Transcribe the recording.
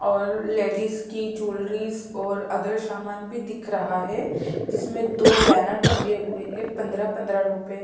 और लेडीज की जूलरीस और अदर सामान भी दिख रहा है जिसमे दो बैनर टंगे हुए हैं पंद्रा -पंद्रा रुपे --